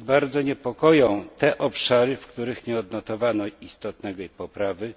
Bardzo nas niepokoją te obszary, w których nie odnotowano istotnej poprawy